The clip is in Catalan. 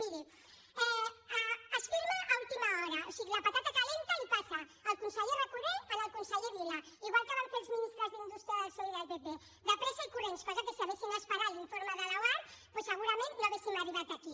miri es firma a última hora o sigui la patata calenta la hi passa el conseller recoder al conseller vila igual que van fer els ministres d’indústria del psoe i del pp de pressa i corrents cosa que si haguessin esperat l’informe de l’oarcc doncs segurament no hauríem arribat aquí